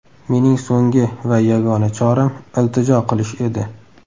Mening so‘nggi va yagona choram iltijo qilish edi.